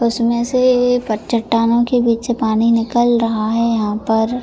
उसमें से एक चट्टानों के बीच से पानी निकल रहा हैयहां पर।